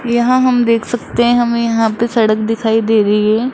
यहां हम देख सकते हैं हमें यहां पे सड़क दिखाई दे रही है।